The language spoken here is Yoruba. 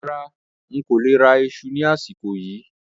Rárá, ń kó lè rà ìṣù ni àsìkò yìí